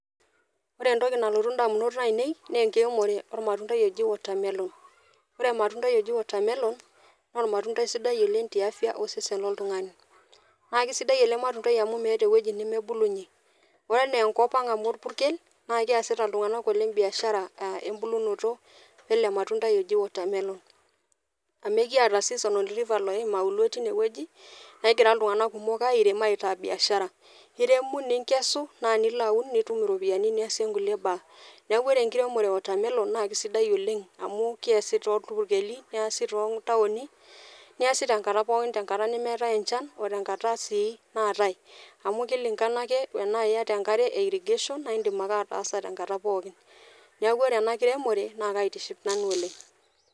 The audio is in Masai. Ore entoki nalotu indamunot ainei naa enkiremore ormatuntai ojo watermelon . Ore ormatundai oji watermelon naa ormatuntai sidai oleng tiatua afya oltungani . Naa kisidai ele matuntai amu meeta ewueji nemebulunyie . Ore anaa enkop ang amu orpukel naa keasita iltunganak kumok oleng biashara a embulunoto ele matuntai oji watermelon . Amu ekiata season river loim auluo tine wueji , negira iltunganak kumok airem aitaa biashara . Iremu ninkeshu naa nilo aun nitum iropiyiani kulie niasie nkulie baa . Niaku ore enkiremore e watermelon naa kisidai oleng amu keesi toorpukeli neasi too ntaoni , neasi tenkata pookin, tenkata nemeetae enchan ote nkata sii naatae . Amu kilingana ake tenaa iyata enkare e irrigation naa indim ake ataaasa tenkata pookin . Niaku ore ena kiremore naa kaitiship nanu oleng